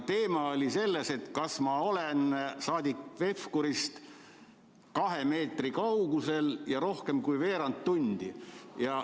Teema oli, kas ma olen saadik Pevkurist kahe meetri kaugusel ja rohkem kui veerand tundi.